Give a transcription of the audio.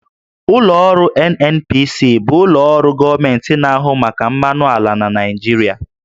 Ụlọ ọrụ NNPC bụ ụlọ ọrụ gọọmenti na-ahụ maka mmanụ ala na Naịjirịa